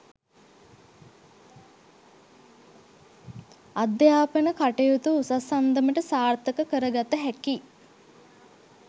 අධ්‍යාපන කටයුතු උසස් අන්දමට සාර්ථක කරගත හැකි